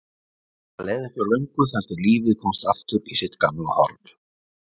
Það leið ekki á löngu þar til lífið komst aftur í sitt gamla horf.